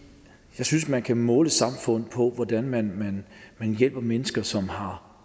jeg synes man kan måle et samfund på hvordan man hjælper mennesker som har